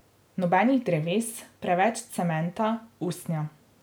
Nobenih dreves, preveč cementa, usnja.